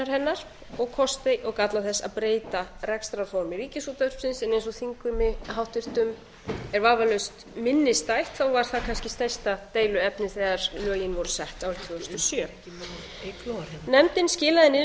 hennar og kosti og galla þess að breyta rekstrarformi ríkisútvarpsins en eins og þingheimi háttvirtur er vafalaust minnisstætt var það kannski stærsta deiluefnið þegar lögin voru sett árið tvö þúsund og sjö nefndin skilaði